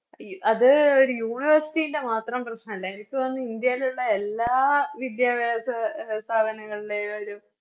ഈ അത് ഒര് University ൻറെ മാത്രം പ്രശ്നല്ല എനിക്ക് തോന്നുന്ന് ഇന്ത്യയിലുള്ള എല്ലാ വിദ്യാഭ്യാസ സ്ഥപന ങ്ങളിലേതായാലും